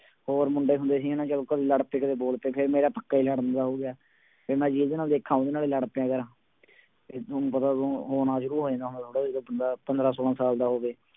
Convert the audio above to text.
ਹੋਰ ਮੁੰਡੇ ਹੁੰਦੇ ਸੀ ਨਾ ਜਦੋਂ ਕਦੇ ਲੜ ਪਏ ਕਦੇ ਬੋਲ ਪਏ ਫਿਰ ਮੇਰਾ ਪੱਕਾ ਹੀ ਲੜਨ ਦਾ ਹੋ ਗਿਆ, ਫਿਰ ਮੈਂ ਜਿਹਦੇ ਨਾਲ ਵੇਖਾਂ ਉਹਦੇ ਨਾਲ ਹੀ ਲੜ ਪਿਆ ਕਰਾਂ, ਫਿਰ ਤੁਹਾਨੂੰ ਪਤਾ ਤੁਹਾਨੂੰ ਹੋਣਾ ਸ਼ੁਰੂ ਹੋ ਜਾਂਦਾ ਹੁਣ ਥੋੜ੍ਹਾ ਜਦੋਂ ਬੰਦਾ ਪੰਦਰਾਂ ਛੋਲਾਂ ਸਾਲ ਦਾ ਹੋਵੇ।